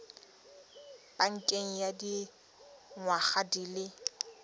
pakeng ya dingwaga di le